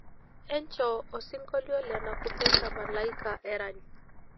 enchoo osinkoilio le nakupenda malaika erany